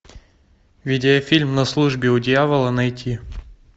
видеофильм на службе у дьявола найти